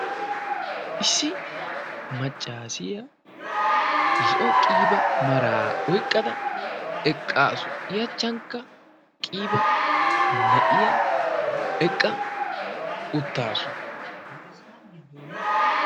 Issi maccaasiya zo'o qiiba maraa oyqqada eqqaasu. I achchankka qiiba na'iya eqqa uttaasu.